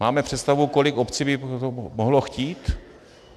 Máme představu, kolik obcí by to mohlo chtít?